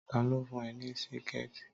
Tá lo fún ẹ ní Síkẹ̀tí!